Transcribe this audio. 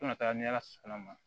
Fo ka taga ni ala sɔnn'a ma